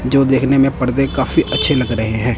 जो देखने में पर्दे काफी अच्छे लग रहे हैं।